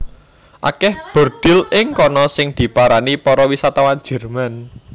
Akèh bordhil ing kana sing diparani para wisatawan Jèrman